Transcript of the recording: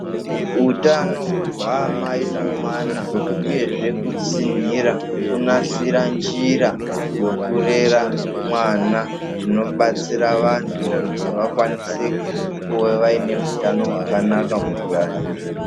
Utano hwaamai nomwana uyezve kutsinhira, kunasira njira yokurera mwana zvinobatsira vantu kuti vakwanise kuva vaine hutano hwakanaka mukurarama.